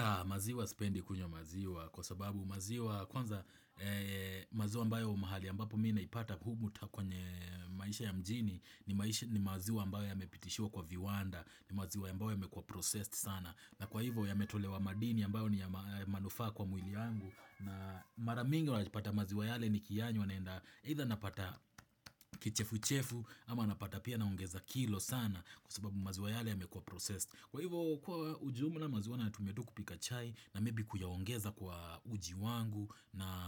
Aah maziwa sipendi kunywa maziwa kwa sababu maziwa kwanza maziwa ambayo mahali ambapo mi naipata humu ta kwenye maisha ya mjini ni maziwa ambayo yamepitishua kwa viwanda ni maziwa ambayo yamekua processed sana na kwa hivyo yametolewa madini ambayo ni ya manufaa kwa mwili yangu na mara mingi unajipata maziwa yale nikiyanywa naenda either napata kichefu chefu ama napata pia na ongeza kilo sana kwa sababu maziwa yale yamekua processed. Kwa hivyo kuwa ujumla maziwa nayatumia tu kupika chai na maybe kuyaongeza kwa uji wangu na